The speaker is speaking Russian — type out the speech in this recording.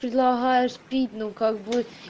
предлагаешь пить ну как бы